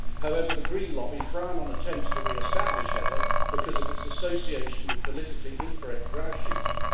However, the Green lobby frown on attempts to re establish heather because of its association with politically incorrect grouse shooting.